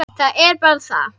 Það er bara það.